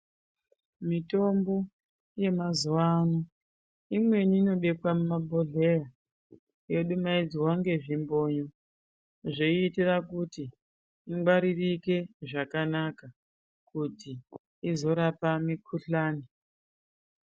Mitombo yemazuvano, imweni inobekwa mumabhodhlera, yodumaidzwa ngezvimbonyo zveiita kuti ingwaririke zvakanaka kuti izorapa mikhuhlane.